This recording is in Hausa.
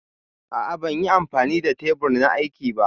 A'a ban yi amfani da tebur na aiki ba.